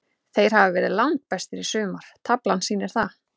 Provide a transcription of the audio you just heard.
Þeir hafa verið langbestir í sumar, taflan sýnir það.